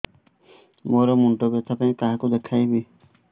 ମୋର ମୁଣ୍ଡ ବ୍ୟଥା ପାଇଁ କାହାକୁ ଦେଖେଇବି